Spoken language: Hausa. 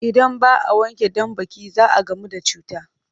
Idan ba a wanke banɗaki za a gamu da cuta